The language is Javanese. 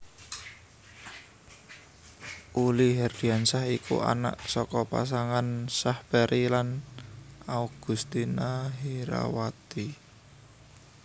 Uli Herdinansyah iku anak saka pasangan Syahperi lan Augustina Herawati